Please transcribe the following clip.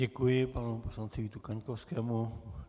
Děkuji panu poslanci Vítu Kaňkovskému.